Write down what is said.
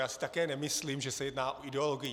Já si také nemyslím, že se jedná o ideologii.